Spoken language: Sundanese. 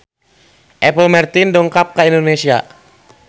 Apple Martin dongkap ka Indonesia